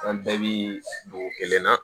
An bɛɛ bi dugu kelen na